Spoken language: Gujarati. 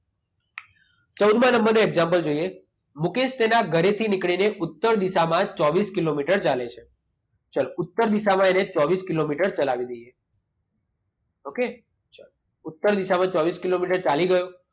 ચૌદમાં નંબરનું એક્ષામપલ જોઈએ. મુકેશ તેના ઘરેથી નીકળીને ઉત્તર દિશામાં ચોવીસ કિલોમીટર ચાલે છે. ચાલો ઉત્તર દિશામાં એને ચોવીસ કિલોમીટર ચલાવી દઈએ. ઓકે? ચાલો. ઉત્તર દિશામાં ચોવીસ કિલોમીટર ચાલી ગયો.